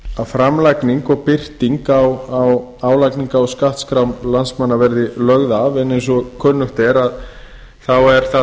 framlagning og birting á álagningar og skattskrám landsmanna verði lögð ef en eins og kunnugt er þá er það